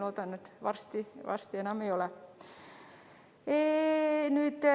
Loodan, et varsti enam ei ole.